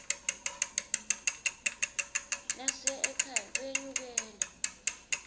nasiya ekhaya kuyenyukela